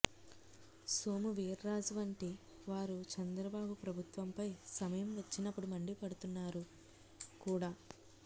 సోము వీర్రాజు వంటి వారు చంద్రబాబు ప్రభుత్వంపై సమయం వచ్చినప్పుడు మండిపడుతున్నారు కూడా